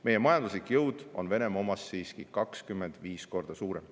Meie majanduslik jõud on Venemaa omast siiski 25 korda suurem.